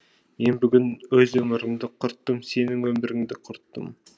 мен бүгін өз өмірімді құрттым сенің өміріңді құрттым